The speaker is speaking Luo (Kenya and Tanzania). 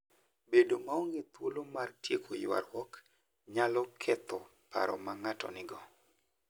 Bedo maonge thuolo mar tieko ywaruok, nyalo ketho paro ma ng'ato nigo.